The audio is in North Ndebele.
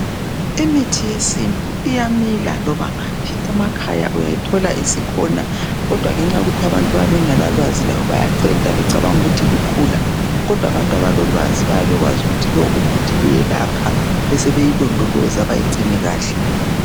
Imithi yesintu iyamila loba ngaphi emakhaya uyayithola isikhona kodwa ngenxa yokuthi abantu bayabe bengela lwazi labo bayayicenta becabanga ukuthi lukhula kodwa abantu abalolwazi bayabe bekwazi ukuthi lowu umuthi uyelapha besebeyilondoloza beyigcine kahle.